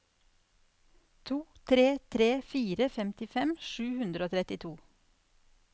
to tre tre fire femtifem sju hundre og trettito